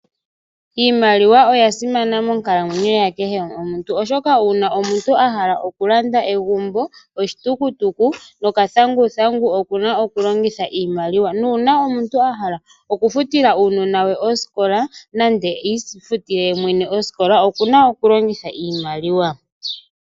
Iimaliwa oya simana monkalamwenyo ya kehe omuntu, oshoka uuna omuntu a hala oku landa egumbo, oshitukutuku nokathanguthangu okuna oku longitha iimaliwa. Nuuna omuntu a hala oku futila uunona we osikola nande iifutile ye mwene osikola okuna oku longitha iimaliwa.